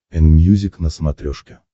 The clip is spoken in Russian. энмьюзик на смотрешке